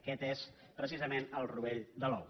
aquest és precisament el rovell de l’ou